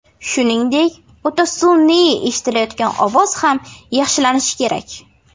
Shuningdek, o‘ta sun’iy eshitilayotgan ovoz ham yaxshilanishi kerak.